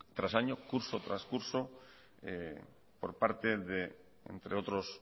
tras año curso tras curso por parte de entre otros